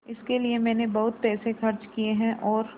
इसके लिए मैंने बहुत पैसे खर्च किए हैं और